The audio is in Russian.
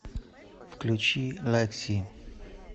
включи лэкси